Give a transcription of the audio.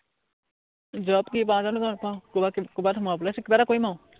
job কি পাওঁ জানো নাপাও, কৰবাত কিবা কৰবাত সোমাবলে আছে, কিবা এটা কৰিম আও।